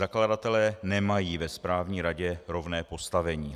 Zakladatelé nemají ve správní radě rovné postavení.